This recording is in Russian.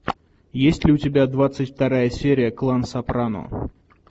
есть ли у тебя двадцать вторая серия клан сопрано